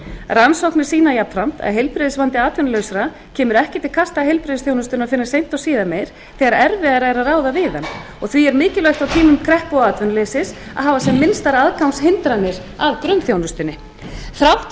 rannsóknir sýna jafnframt að heilbrigðisvandi atvinnulausra kemur ekki til kasta heilbrigðisþjónustunnar fyrr en seint og síðar meir þegar erfiðara er að ráða við hann og því er mikilvægt á tímum kreppu og atvinnuleysis að hafa sem minnstar aðgangshindranir að grunnþjónustunni þrátt fyrir